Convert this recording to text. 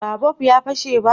ba bob ya fashe ba?